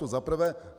To za prvé.